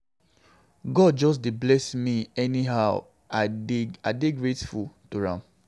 God just dey bless me anyhow I dey dey grateful to am.